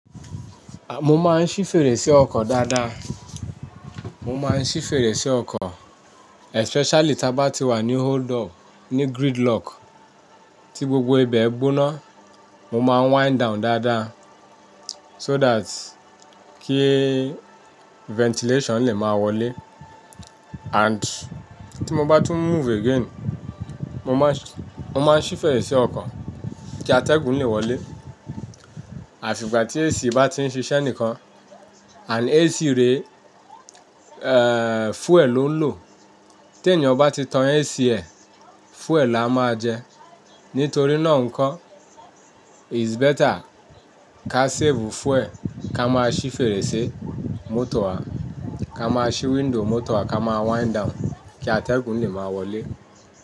Mo máa ń ṣí fèrèsé ọkọ̀ dáadáa. Mo máa ń ṣí fèrèsé ọkọ̀ especially tí a bá ti wà ní hold up, ní gridlock tí gbogbo ibẹ̀ gbóná, mo máa wind down dáadáa so that kí ventilation lè máa wọlé and tí mo bá tún move again, mo máa ń, mo máa ń ṣí fèrèsé ọkọ̀ kí atẹ́gùn lè wọlé. Àfi ìgbà tí AC bá ti ń ṣiṣẹ́ nìkan and AC rẹ, eh, fuel ló ń lò. Tí ènìyàn bá ti tan AC ẹ̀, fuel á máa jẹ. Nítorí náà ńkọ́, it's better ká save fuel ká máa ṣí fèrèsé mọ́tò wa, ká máa ṣí window mọ́tò wa, ká máa wind down kí atẹ́gùn lè máa wọlé.